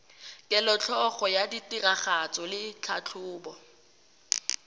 kelotlhoko ya tiragatso le tlhatlhobo